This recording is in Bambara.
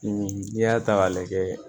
N'i y'a ta k'a lajɛ